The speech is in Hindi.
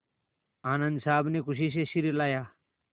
आनन्द साहब ने खुशी से सिर हिलाया